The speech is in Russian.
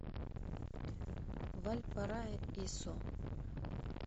вальпараисо